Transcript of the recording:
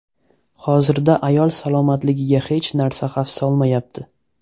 Hozirda ayol salomatligiga hech narsa xavf solmayapti.